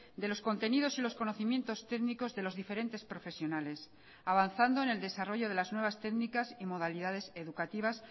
de los contenidos y los conocimientos técnicos de los diferentes profesionales avanzando en el desarrollo de las nuevas técnicas y modalidades educativas